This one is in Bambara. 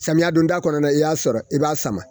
Samiya donda kɔnɔna i y'a sɔrɔ i b'a sama